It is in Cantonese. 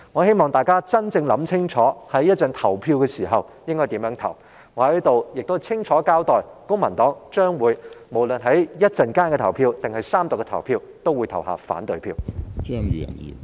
希望大家考慮清楚稍後的投票意向，而我亦要在此清楚交代，不論是稍後的表決還是在三讀階段，公民黨均會投下反對票。